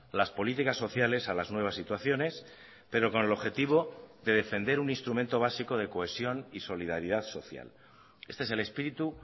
las políticas sociales a las nuevas situaciones pero con el objetivo de defender un instrumento básico de cohesión y solidaridad social este es el espíritu